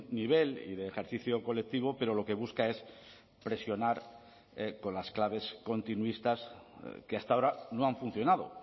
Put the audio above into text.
nivel y de ejercicio colectivo pero lo que busca es presionar con las claves continuistas que hasta ahora no han funcionado